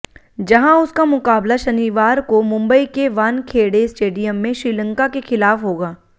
जहां उसका मुकाबला शनिवार को मुंबई के वानखेड़े स्टेडियम में श्रीलंका के खिलाफ होगा